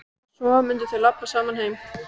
Og svo mundu þau labba saman heim.